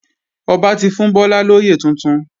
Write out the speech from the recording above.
Ọba ti fún Bọ́lá lóyè tuntun